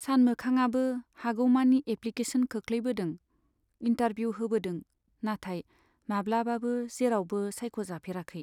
सानमोखांआबो हागौमानि एप्लिकेसन खोख्लैबोदों, इन्टारभिउ होबोदों, नाथाय माब्लाबाबो जेरावबो सायख'जाफेराखै।